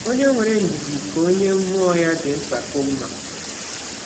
Ọnye nwere ndidi ka ọnye mmụọ ya dị mpakọ mma.